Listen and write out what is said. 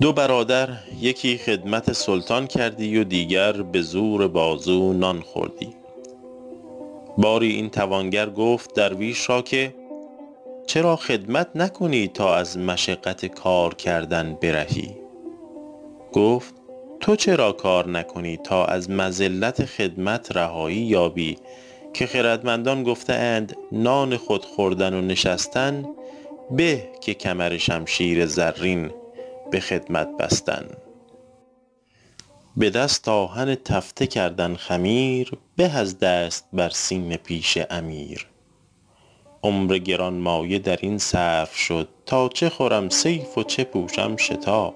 دو برادر یکی خدمت سلطان کردی و دیگر به زور بازو نان خوردی باری این توانگر گفت درویش را که چرا خدمت نکنی تا از مشقت کار کردن برهی گفت تو چرا کار نکنی تا از مذلت خدمت رهایی یابی که خردمندان گفته اند نان خود خوردن و نشستن به که کمرشمشیر زرین به خدمت بستن به دست آهک تفته کردن خمیر به از دست بر سینه پیش امیر عمر گرانمایه در این صرف شد تا چه خورم صیف و چه پوشم شتا